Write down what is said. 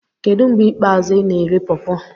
Kedu mgbe ikpeazụ ị na-eri pawpaw?